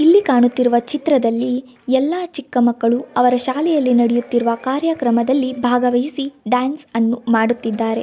ಇಲ್ಲಿ ಕಾಣುತ್ತಿರುವ ಚಿತ್ರದಲ್ಲಿ ಎಲ್ಲಾ ಚಿಕ್ಕಮಕ್ಕಳು ಅವರ ಶಾಲೆಯಲ್ಲಿ ನಡೆಯುತ್ತಿರುವ ಕಾರ್ಯಕ್ರಮದಲ್ಲಿ ಬಾಗವಹಿಸಿ ಡ್ಯಾನ್ಸ್ ಅನ್ನು ಮಾಡುತ್ತಿದ್ದಾರೆ.